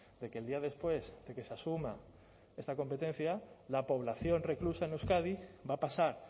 de que el día después de que se asuma esta competencia la población reclusa en euskadi va a pasar